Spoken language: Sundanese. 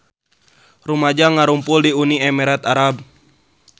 Rumaja ngarumpul di Uni Emirat Arab